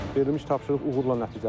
Verilmiş tapşırıq uğurla nəticələndi.